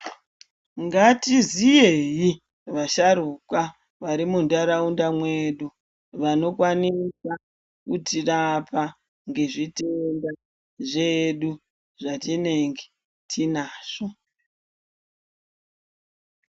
Ngaiziyeyi vasharukwa vari muntharaunda mwedu vanokwanisa kutirapa ngezvitenda zvedu zvatinenge tinazvo.